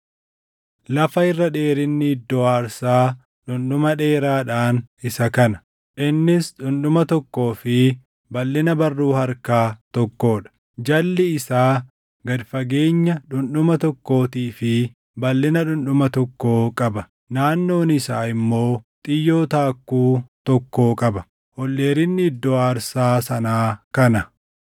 “Lafa irra dheerinni iddoo aarsaa dhundhuma dheeraadhaan isa kana: Innis dhundhuma tokkoo fi balʼina barruu harkaa tokkoo dha; jalli isaa gad fageenya dhundhuma tokkootii fi balʼina dhundhuma tokkoo qaba; naannoon isaa immoo xiyyoo taakkuu tokkoo qaba. Ol dheerinni iddoo aarsaa sanaa kana: